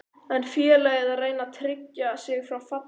Er félagið að reyna að tryggja sig frá falli?